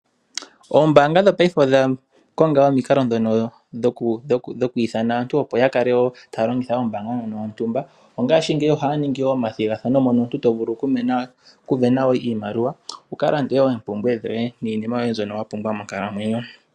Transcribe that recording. Oombanga dhopaife odha konga wo omikalo ndhono dhokuithana aantu, opo ya kale wo taya longitha ombanga ndjono yontumba. Ongashingeyi ohaya ningi wo omathigathano mono omuntu to vulu okusindana oshimaliwa wu ka lande wo oompumbwe dhoye niima mbyoka wa pumbwa monkalamwenyo.